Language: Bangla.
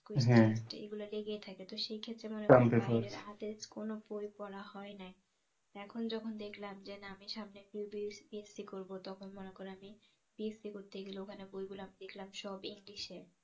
এগুলা এগুলা লেগেই থাকে তো সেক্ষত্রে মনে করেন বাহিরের আগের কোন বই পড়া হয় নাই এখন যখন দেখলাম যে না আমি সামনে BSC করবো তখন মনে করেন আমি BSC করতে গেলে ওখানে বইগুলা আমি দেখলাম সব english এ